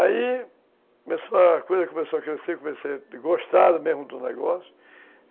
Aí começou, a coisa começou a crescer, comecei a gostar mesmo do negócio.